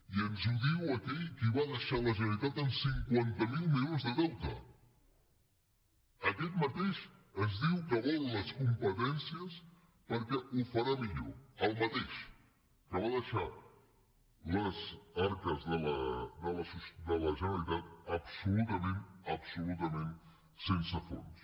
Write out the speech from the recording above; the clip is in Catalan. i ens ho diu aquell qui va deixar la generalitat amb cinquanta miler milions de deute aquest mateix ens diu que vol les competències perquè ho farà millor el mateix que va deixar les arques de la generalitat absolutament absolutament sense fons